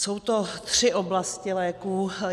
Jsou to tři oblasti léků.